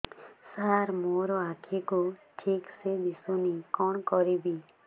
ସାର ମୋର ଆଖି କୁ ଠିକସେ ଦିଶୁନି କଣ କରିବି